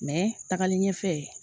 tagali ɲɛfɛ